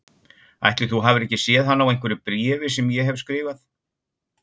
Ætli þú hafir ekki séð hana á einhverju bréfi sem ég hef skrifað